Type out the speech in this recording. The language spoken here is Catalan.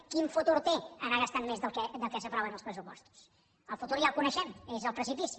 quin futur té anar gastant més del que s’aprova en els pressupostos el futur ja el coneixem és el precipici